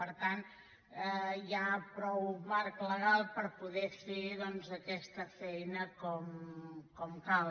per tant hi ha prou marc legal per poder fer doncs aquesta feina com cal